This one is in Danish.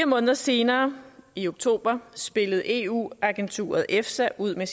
måneder senere i oktober spillede eu agenturet efsa ud med